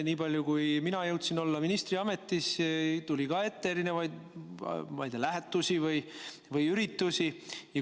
Nii palju kui mina jõudsin olla ministriametis, tuli ka ette lähetusi või üritusi.